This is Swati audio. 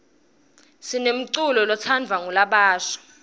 sinemculo letsandvwa ngulabasha